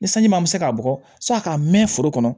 Ni sanji ma se k'a bɔ k'a mɛn foro kɔnɔ